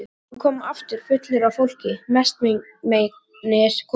Hann kom aftur fullur af fólki, mestmegnis konum.